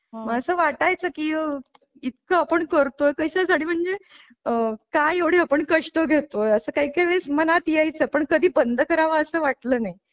मासा वाटायचं की इतकं आपण करतो कशासाठी म्हणजे काय एवढं आपण कष्ट घेतो असं काही काही वेळेस मनात यायचे पण कधी बंद करावा असे वाटले नाही.